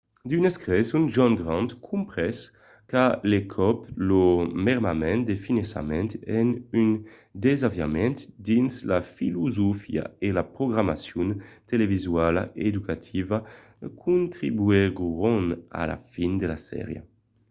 d'unes creson john grant comprés qu'a l’encòp lo mermament de finançament e un desaviament dins la filosofia e la programacion televisuala educativa contribuguèron a la fin de la sèria